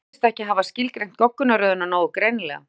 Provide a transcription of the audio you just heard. hann virðist ekki hafa skilgreint goggunarröðina nógu greinilega